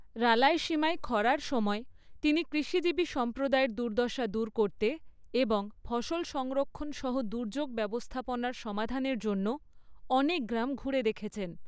রালায়সীমা খরার সময় তিনি কৃষিজীবী সম্প্রদায়ের দুর্দশা দূর করতে এবং ফসল সংরক্ষণ সহ দুর্যোগ ব্যবস্থাপনার সমাধানের জন্য অনেক গ্রাম ঘুরে দেখেছেন।